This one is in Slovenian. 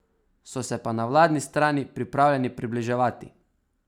So se pa na vladni strani pripravljeni približevati.